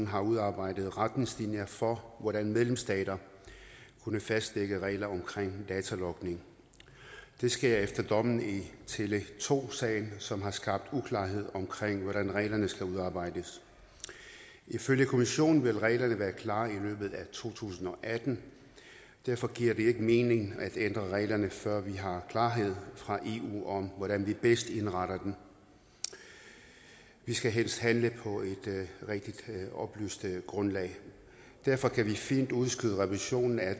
har udarbejdet retningslinjer for hvordan medlemsstater kan fastsætte regler om datalogning det sker efter dommen i tele2 sagen som har skabt uklarhed om hvordan reglerne skal udarbejdes ifølge kommissionen vil reglerne være klar i løbet af to tusind og atten derfor giver det ikke mening at ændre reglerne før vi har klarhed fra eu om hvordan vi bedst indretter dem vi skal helst handle på et rigtig oplyst grundlag og derfor kan vi fint udskyde revisionen af